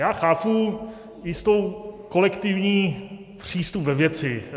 Já chápu jistý kolektivní přístup ve věci.